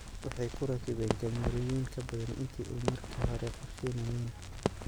Waxay ku rakibeen kaamerooyin ka badan intii ay markii hore qorsheynayeen.